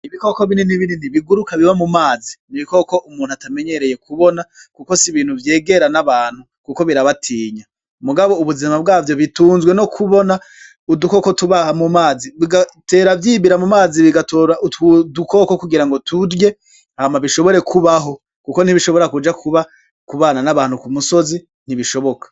Ibikoko binini biguruka biba mu mazi, n'ibikoko umuntu atamenyereye kubona kuko s'ibintu vyegera n'abantu kuko birabatinya . Mugabo ubuzima bwavyo bitunzwe no kubona udukoko tuba mu mazi bigatera vyibira mu mazi bigatora udukoko kugira turye hama bishobore kubaho kuko ntibishobora kuja kubana n'abantu ku misozi ntibishoboka.